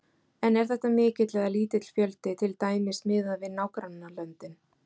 En er þetta mikill eða lítill fjöldi, til dæmis miðað við nágrannalöndin?